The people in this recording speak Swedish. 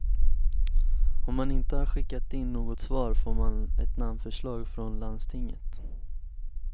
Om man inte har skickat in något svar får man ett namnförslag från landstinget.